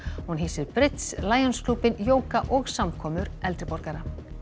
hún hýsir Lions klúbbinn jóga og samkomur eldri borgara